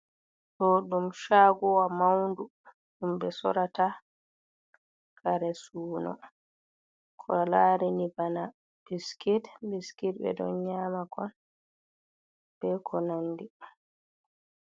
Ɗo ɗum shaguowa maundu ɗum ɓe sorata kare suno ko larini bana biskit. Biskit ɓe ɗo nyama kon be ko nandi.